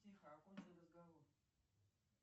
тихо окончи разговор